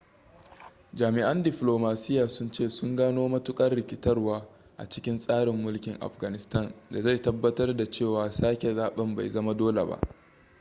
jami'an diflomasiyya sun ce sun gano matuƙar rikitarwa a cikin tsarin mulkin afghanistan da zai tabbatar da cewa sake zaben bai zama dole ba